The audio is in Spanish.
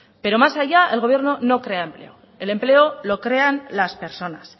pero más allá el gobierno no crea empleo el empleo lo crean las personas